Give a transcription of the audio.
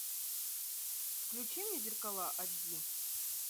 включи мне зеркала аш ди